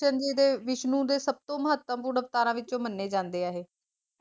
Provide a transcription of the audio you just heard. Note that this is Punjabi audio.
ਕ੍ਰਿਸ਼ਨ ਜੀ ਵਿਸ਼ਨੂੰ ਜੀ ਦੇ ਸੱਭ ਤੋਂ ਮਹੱਤਵਪੂਰਨ ਅਵਤਾਰਾਂ ਵਿਚੋਂ ਮੰਨੇ ਜਾਂਦੇ ਹੈਂ ਇਹ